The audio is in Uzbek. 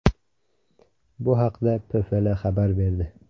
Bu haqda PFL xabar berdi .